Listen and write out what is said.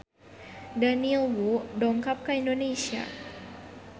Daniel Wu dongkap ka Indonesia